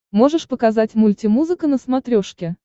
можешь показать мультимузыка на смотрешке